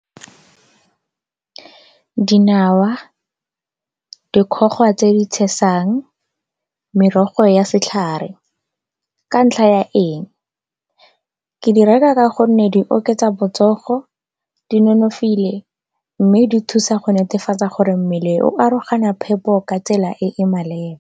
Dinawa, dikgoga tse di tshesang, merogo ya setlhare ka ntlha ya eng? Ke di reka ka gonne di oketsa botsogo, di nonofile mme di thusa go netefatsa gore mmele o aroganya phepo ka tsela e e maleba.